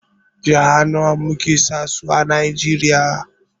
Jiha nawa muke sa su a Najeriya?